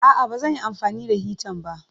A'a, ba zan yi amfani da hitan ba.